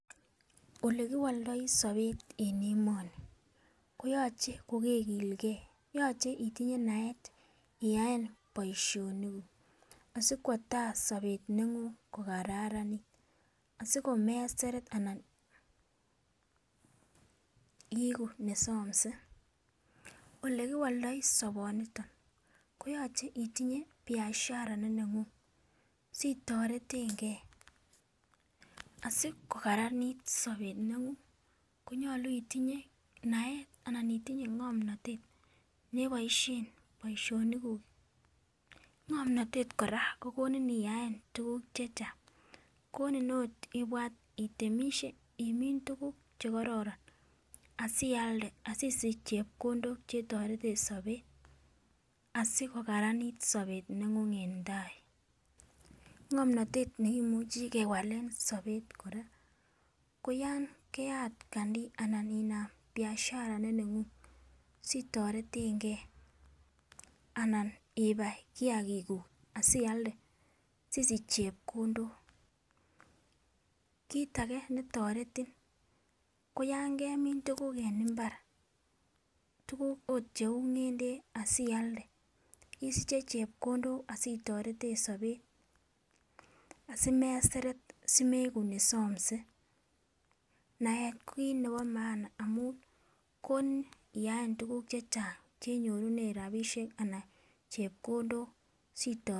Olekiwoldoi sobet en emoni koyoche kokegilgee yoche itinye naet iyaen boishonik kuk asikwo tai sobet neng'ung' ko kararanit asikomeseret anan iiku nesomse, olekiwoldoi soboniton koyoche itinye biashara neneng'ung' sitoretengee, asikokaranit sobet neng'ung' koyoche itinye naet anan itinye ng'omnotet neboishen boishonik kuk. Ngomnotet koraa konin iyaen tukuk chechang' koni ot ibwat itemishe imin tukuk chekororon asialde asisich chepkondok chetoreten sobet asikokararanit sobet neng'ung' en tai. ngomnotet nekimuchi kewalen sobet koraa koyon keyat kandii anan inam biashara neneng'ung' sitoretengee anan ibai kiyakik kuuk sialde sisich chepkondok. kit age netoretin koyon kemin tukuk en imbar, tukuk ot cheu ngeldek asialde isiche chepkondok asitoreten sobet asimeseret asimeiku nesomse. Naet ko kit nebo maana amun koni iyeen tukuk chechang chenyorunen rabishek anan chepkndok sitor.